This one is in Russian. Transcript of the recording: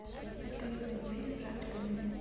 поисковик найди фильм в жанре комедия